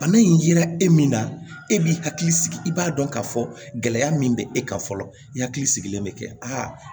Bana in yera e min na e b'i hakili sigi i b'a dɔn k'a fɔ gɛlɛya min bɛ e kan fɔlɔ i hakili sigilen bɛ kɛ aa